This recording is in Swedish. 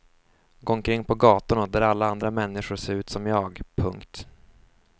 Gå omkring på gatorna där alla andra människor ser ut som jag. punkt